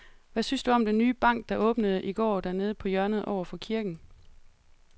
Hvad synes du om den nye bank, der åbnede i går dernede på hjørnet over for kirken?